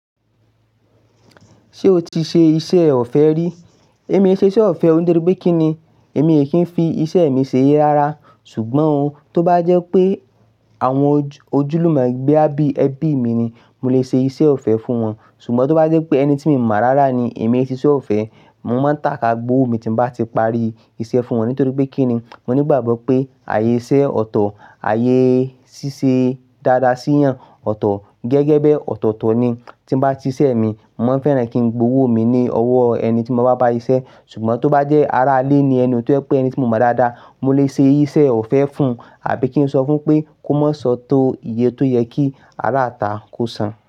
Ṣé o ti ṣe iṣẹ́ ọ̀fẹ́ rí? Èmi ṣe iṣẹ́ ọ̀fẹ́ nítorí pé kí ni èmi kì í fi iṣẹ́ mi ṣe yé lára. Ṣùgbọ́n ohun tó bá jẹ́ pé àwọn ojúlùmọ gbé á bí ẹbí mi ni, mo lè ṣe iṣẹ́ ọ̀fẹ́ fún wọn. Ṣùgbọ́n tó bá jẹ́ pé ẹni tí mo mọ̀ rárá ni, èmi óò siṣe ọ̀fẹ́. Mo máa ń tàká gbówó mi tí mo bá ti parí iṣẹ́ fún wọn. Nítorí pé kí ni, mo ní ìgbàgbọ́ pé ààyè iṣẹ́ ọ̀tọ̀, ààyè ṣíṣe dáadáa sí ìyàn ọ̀tọ̀ gẹ́gẹ́ bí ọ̀tọ̀ọ̀tọ̀ ni. Tí mo bá ṣiṣẹ́ mi, mo máa fẹ́ràn kí n gbó owó mi ní ọwọ́ ẹni tí mo bá bá ṣiṣẹ́. Ṣùgbọ́n tó bá jẹ́ ará ilé ni ẹni, tó pé ẹni tí mo mọ̀ dáadáa, mo lè ṣe iṣẹ́ ọ̀fẹ́ fún àbí kí n sọ fún pé kó má sọ tó iye tó yẹ kí ará àta kó san.